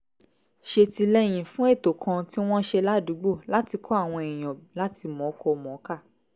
ṣètìlẹ́yìn fún ètò kan tí wọ́n ṣe ládùúgbò láti kọ́ àwọn èèyàn láti mọ̀ọ́kọ-mọ̀ọ́kà